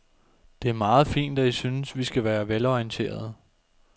Det er meget fint, at I synes, vi skal være velorienterede.